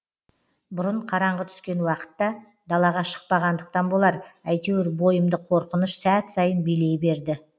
бұрын қараңғы түскен уақытта далаға шықпағандықтан болар әйтеуір бойымды қорқыныш сәт сайын билей берді